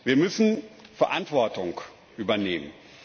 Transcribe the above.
Wir müssen Verantwortung übernehmen.